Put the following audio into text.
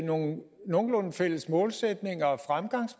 nogle nogenlunde fælles målsætninger